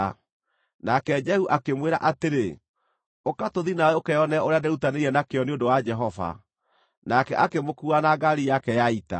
Nake Jehu akĩmwĩra atĩrĩ, “Ũka tũthiĩ nawe ũkeonere ũrĩa ndĩĩrutanĩirie na kĩyo nĩ ũndũ wa Jehova.” Nake akĩmũkuua na ngaari yake ya ita.